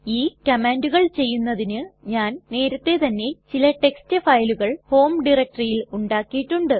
ഈ കമ്മാൻണ്ടുകൾ ചെയ്യുന്നതിന് ഞാൻ നേരത്തെ തന്നെ ചില ടെക്സ്റ്റ് ഫയലുകൾ ഹോം ഡയറക്ടറിയിൽ ഉണ്ടാക്കിയിട്ടുണ്ട്